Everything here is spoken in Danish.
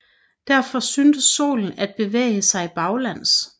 Derfor synes Solen at bevæge sig baglæns